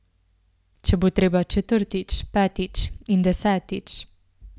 Če bo treba četrtič, petič in desetič!